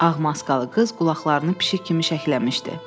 Ağ maskalı qız qulaqlarını pişik kimi şəkləmişdi.